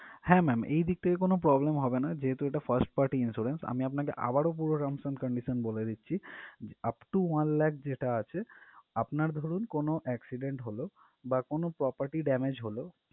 হ্যাঁ ma'am এই দিক থেকে কোনো problem হবে না যেহেতু এটা first party insurance আমি আপনাকে আবারও পুরো terms and conditions বলে দিচ্ছি upto one lakh যেটা আছে আপনার ধরুন কোনো accident হলো বা কোনো property damage হলো